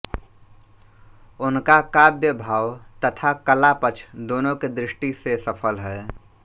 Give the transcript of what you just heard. उनका काव्य भाव तथा कला पक्ष दोनों की दृष्टि से सफल है